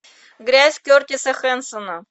грязь кертиса хэнсона